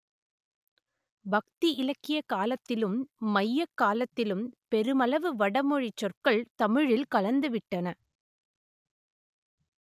பக்தி இலக்கிய காலத்திலும் மையக் காலத்திலும் பெருமளவு வடமொழிச் சொற்கள் தமிழில் கலந்துவிட்டன